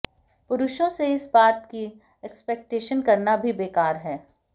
पुरुषों से इस बात की एक्सपेक्टेशन करना भी बेकार है